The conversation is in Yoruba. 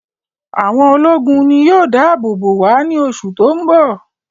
Àwọn ológun ni yóò dá àbò bò wá ní oṣù tó ń bọ̀